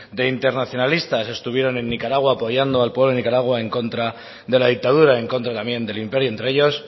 de internacionalistas estuvieron en nicaragua apoyando al pueblo de nicaragua en contra de la dictadura en contra también del imperio entre ellos